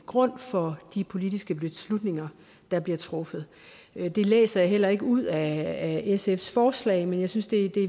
grund for de politiske beslutninger der bliver truffet det læser jeg heller ikke ud af sfs forslag men jeg synes det